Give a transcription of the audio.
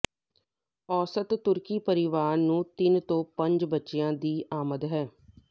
ਔਸਤ ਤੁਰਕੀ ਪਰਿਵਾਰ ਨੂੰ ਤਿੰਨ ਤੋਂ ਪੰਜ ਬੱਚਿਆਂ ਦੀ ਆਮਦ ਹੈ